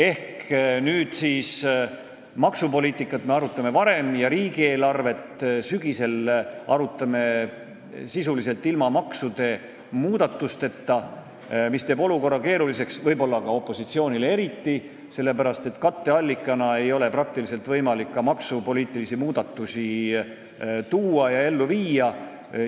Ehk nüüd me arutame maksupoliitikat varem ja riigieelarvet arutame sügisel sisuliselt ilma maksumuudatusteta, mis teeb olukorra keeruliseks, võib-olla opositsioonile eriti, sest katteallikatena ei ole võimalik maksupoliitilisi muudatusi pakkuda.